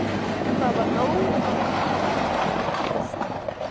Það var nóg að amma varð að hlusta á hann.